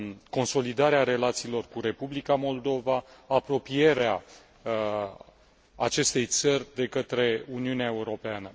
consolidarea relațiilor cu Republica Moldova, apropierea acestei țări de Uniunea Europeană.